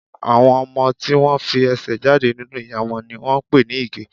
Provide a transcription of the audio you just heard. Àwọn ọmọ tí wón fi ẹsẹ̀ jáde nínú ìyá wọn ni wón ń pè ní Ìgẹ̀.